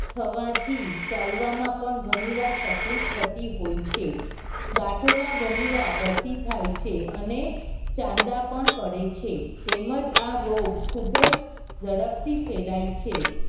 થવા થી ચાલવા માં પણ ગણી વાર તકલીફ થતી હોય છે ગાંઠો માં ગણી વાર રસી થાય છે અને ચાંદા પણ પડે છે તેમજ આ રોગ ખુબ જ જડપ થી ફેલાય છે.